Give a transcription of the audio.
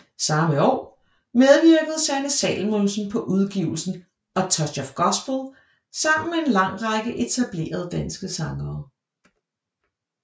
Samme år medvirkede Sanne Salomonsen på udgivelsen A Touch of Gospel sammen med en lang række etablerede danske sangere